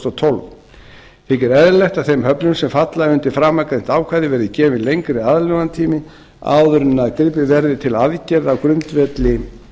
og tólf þykir eðlilegt að þeim höfnum sem falla undir framangreint ákvæði verði gefin lengri aðlögunartími áður en gripið verði til aðgerða á grundvelli